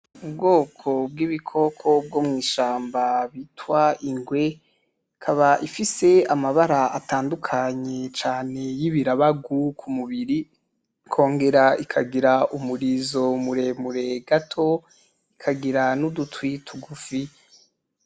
Ubwoko bwibikoko bwo mwishamba bita ingwe ikaba ifise amabara atandukanye cane yibirabagu kumubiri ikogera ikagira umurizo muremure gato ikagira nudutwi tugufi.